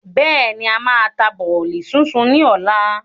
Bẹ́ẹ̀ni, a máa ta bọ̀lì súnsun ni ọ̀la.